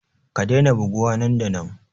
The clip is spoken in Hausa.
Ka daina buguwa nan da nan!